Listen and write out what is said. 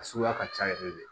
A suguya ka ca yɛrɛ de